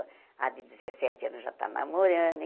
A de dezessete anos já está namorando.